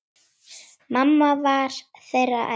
Mamma var þeirra elst.